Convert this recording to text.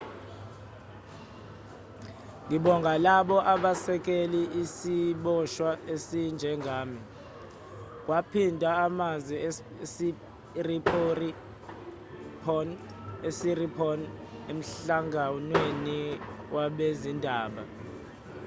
ngibonga labo abasekele isiboshwa esinjengami kwaphindwa amazwi kasiriporn emhlanganweni wabezindaba